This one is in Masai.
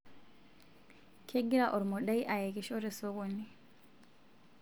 kegira ormodai ayekisho te sokoni